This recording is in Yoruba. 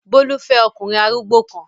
Bólú fẹ́ ọkùnrin arúgbó kan.